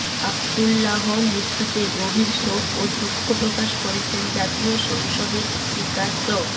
আবদুল্লাহর মৃত্যুতে গভীর শোক ও দুঃখ প্রকাশ করেছেন জাতীয় সংসদের স্পিকার ড